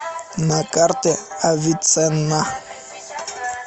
на карте авиценна